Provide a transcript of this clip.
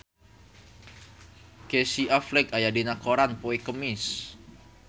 Casey Affleck aya dina koran poe Kemis